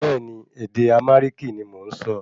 Bẹ́ẹ̀ni, ède Arámíkì ní mọ nsọ